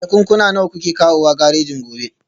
Jakunkuna nawa kuke kawowa garejin gobe?